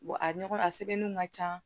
Wa a ɲɔgɔn a sɛbɛnniw ka ca